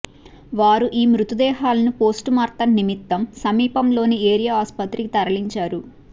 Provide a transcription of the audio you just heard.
వారు ఈ మృతదేహాలను పోస్టుమార్టం నిమిత్తం సమీపంలోని ఏరియా ఆస్పత్రికి తరలించారు